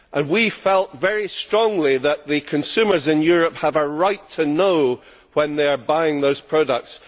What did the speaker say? We felt very strongly that the consumers in Europe have a right to know when they are buying those products.